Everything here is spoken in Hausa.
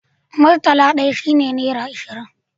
murtala ɗaya shi ne nera ashirin